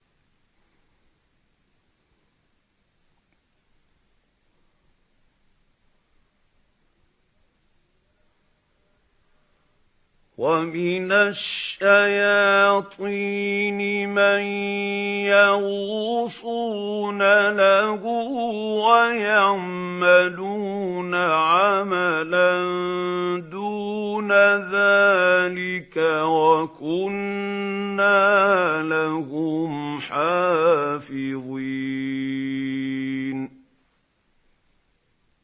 وَمِنَ الشَّيَاطِينِ مَن يَغُوصُونَ لَهُ وَيَعْمَلُونَ عَمَلًا دُونَ ذَٰلِكَ ۖ وَكُنَّا لَهُمْ حَافِظِينَ